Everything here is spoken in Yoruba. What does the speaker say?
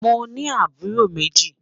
Mọ ní àbúró mẹ́jì.